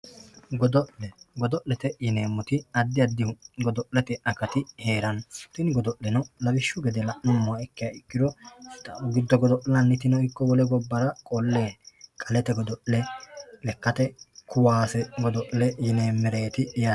Godo'le godo'lete yineemmowoyite addi addi godo'lete akati heeranno tini godo'leno lawishshu gede la'nummoha ikkiro giddo godo'linannitano ikki wole gobbara godo'linanniti qalete godo'le lekkate kaase godo'le yineemmereeti yaate.